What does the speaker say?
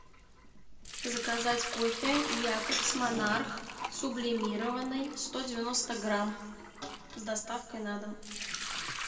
заказать кофе якобс монарх сублимированный сто девяносто грамм с доставкой на дом